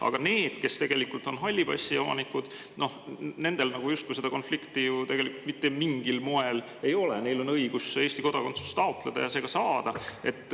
Aga nendel, kes on halli passi omanikud, justkui seda konflikti ju mitte mingil moel ei ole, neil on õigus Eesti kodakondsust taotleda ja see ka saada.